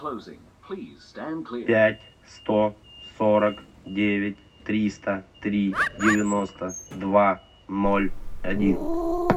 пять сто сорок девять триста три девяносто два ноль один